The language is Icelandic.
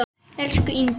Elsku Inga.